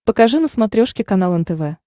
покажи на смотрешке канал нтв